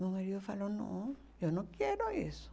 Meu marido falou, não, eu não quero isso.